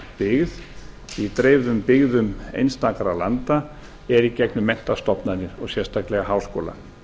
byggð í dreifðum byggðum einstakra landa eða í gegnum menntastofnanir og sérstaklega háskóla